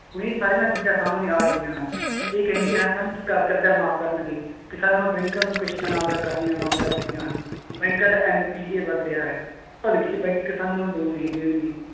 ਸੋ ਇਹ ਸਾਰੀਆਂ ਚੀਜ਼ਾਂ ਸਾਹਮਣੇ ਆ ਰਹੀਆਂ ਹਨ, ਇਹ ਕਹਿੰਦੇ ਹਾਂ ਸਨ ਕਿ ਕ~ ਕਰਜ਼ਾ ਮਾਫ਼ ਕਰਨਗੇ, ਕਿਸਾਨਾਂ ਨੂੰ ਬੈਕਾਂ ਨੂੰ ਕਿਸ਼ਤਾਂ ਅਦਾ ਕਰਨੀਆਂ ਬੰਦ ਕਰ ਦਿੱਤੀਆਂ ਹਨ, ਬੈਕਾਂ ਦਾ NPA ਵੱਧ ਰਿਹਾ ਹੈ ਕਿਸਾਨਾਂ ਨੂੰ loan ਨਹੀਂ ਦੇਣਗੇ।